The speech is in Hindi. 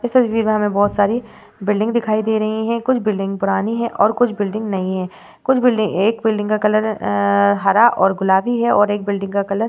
इस तस्वीर में हमें बहोत सारी बिल्डिंग दिखाई दे रही हैं। कुछ बिल्डिंग पुरानी हैं और कुछ बिल्डिंग नई हैं। कुछ बिल्डिंग एक बिल्डिंग का कलर हरा और गुलाबी है और बिल्डिंग का कलर --